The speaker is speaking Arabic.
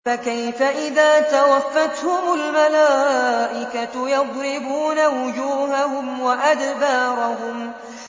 فَكَيْفَ إِذَا تَوَفَّتْهُمُ الْمَلَائِكَةُ يَضْرِبُونَ وُجُوهَهُمْ وَأَدْبَارَهُمْ